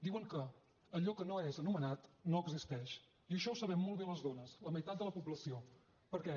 diuen que allò que no és anomenat no existeix i això ho sabem molt bé les dones la meitat de la població perquè